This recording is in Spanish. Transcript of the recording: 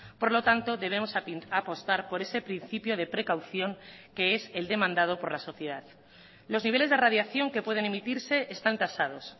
por lo tanto debemos apostar por ese principio de precaución que es el demandado por la sociedad los niveles de radiación que pueden emitirse están tasados